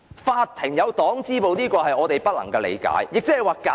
法院設有黨支部，這是我們所不能理解的。